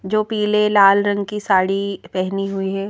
जो पीले लाल रंग की साड़ी पहनी हुई है।